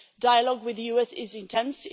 Dialogue with the US is intense.